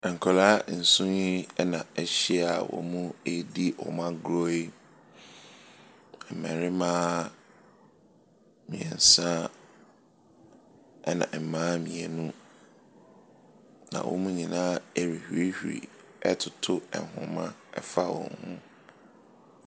Nkwadaa nson yi na ahyia ɛredi wɔn agorɔ yi. Mmarima mmiɛnsa na mmaa mmienu. Na wɔn nyinaa ɛrehurihuri toto nhoma ɛfa hɔn ho.